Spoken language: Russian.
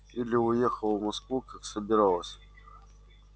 или уехала в москву как собиралась